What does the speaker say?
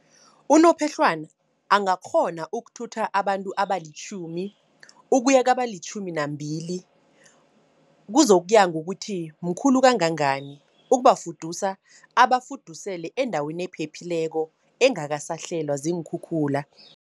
Unophehlwana angakghona ukuthutha abantu abalitjhumi, ukuya kabalitjhumi nambili. Kuzokuya ngokuthi, mkhulu kangangani. Ukubafudusa, abafudusele endaweni ephephileko, engakasahlelwa ziinkhukhula.